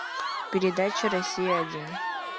передача россия один